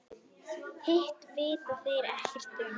Hitt vita þeir ekkert um.